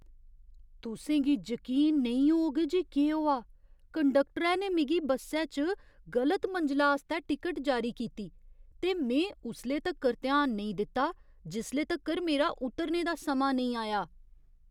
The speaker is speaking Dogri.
तुसें गी जकीन नेईं होग जे केह् होआ! कंडक्टरै ने मिगी बस्सै च गलत मंजला आस्तै टिकट जारी कीती, ते में उसले तक्कर ध्यान नेईं दित्ता जिसले तक्कर मेरा उतरने दा समां नेईं आया!